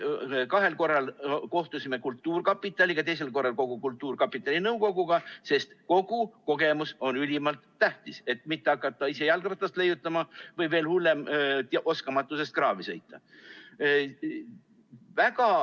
Kahel korral kohtusime kultuurkapitaliga, teisel korral kultuurkapitali nõukoguga, sest kogu kogemus on ülimalt tähtis, et mitte hakata ise jalgratast leiutama, või veel hullem, sõita oskamatusest kraavi.